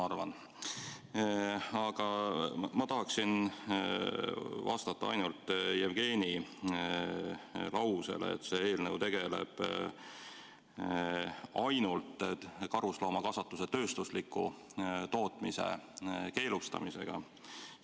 Aga ma tahan kommenteerida ainult Jevgeni lauset, et see eelnõu tegeleb ainult karusloomakasvatuse tööstusliku tootmise keelustamisega.